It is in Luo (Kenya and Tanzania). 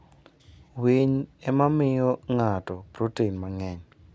Winy ema miyo ng'ato protin mang'eny.